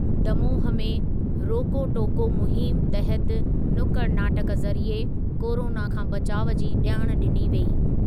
दमोह में रोको टोको मुहिम तहति नुक्कड़ नाटक ज़रिए कोरोना खां बचाउ जी ॼाण ॾिनी वेई।